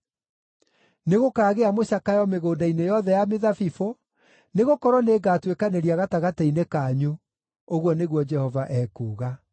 Nĩgũkaagĩa mũcakayo mĩgũnda-inĩ yothe ya mĩthabibũ, nĩgũkorwo nĩngatuĩkanĩria gatagatĩ-inĩ kanyu,” ũguo nĩguo Jehova ekuuga.